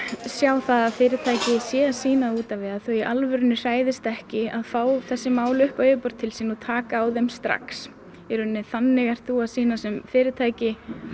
sjá það að fyrirtæki séu að sýna út á við að þau í alvöru hræðist ekki að fá þessi mál upp á yfirborðið til sín og taka á þeim strax þannig ert þú að sýna sem fyrirtæki